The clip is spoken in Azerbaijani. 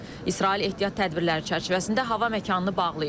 İsrail ehtiyat tədbirləri çərçivəsində hava məkanını bağlayıb.